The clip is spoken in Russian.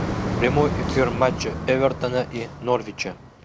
прямой эфир матча эвертона и норвича